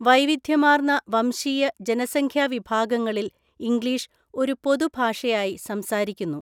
വൈവിധ്യമാർന്ന വംശീയ, ജനസംഖ്യാ വിഭാഗങ്ങളിൽ ഇംഗ്ലീഷ് ഒരു പൊതു ഭാഷയായി സംസാരിക്കുന്നു.